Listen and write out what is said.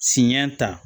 Siɲɛ ta